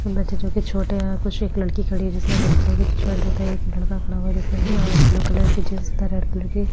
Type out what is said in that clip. बैठे जो की छोटे है कुछ एक लड़की खड़ी है जिसने रेड कलर की टी-शर्ट तथा एक लड़का खड़ा हुआ है जिसने ब्लू कलर की जींस तथा रेड कलर की--